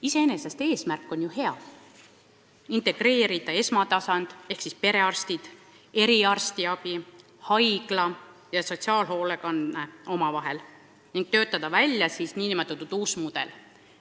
Iseenesest eesmärk on ju hea: integreerida esmatasand ehk siis perearstiabi, eriarstiabi, haiglaravi ja sotsiaalhoolekanne omavahel ning töötada välja uus mudel.